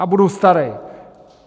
Já budu starej!